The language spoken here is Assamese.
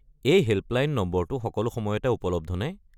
এই হে'ল্পলাইন নম্বৰটো সকলো সময়তে উপলব্ধ নে?